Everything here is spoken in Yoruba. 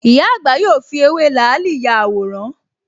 Ìyá àgbà yóò fi ewé làálì ya àwòrán